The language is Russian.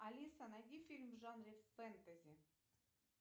алиса найди фильм в жанре фэнтези